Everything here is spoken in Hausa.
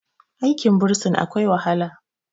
aikin bursin akwai wahala